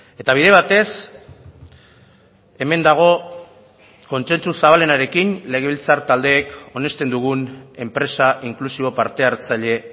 eta bide batez hemen dago kontsentsu zabalenarekin legebiltzar taldeek onesten dugun enpresa inklusibo parte hartzaile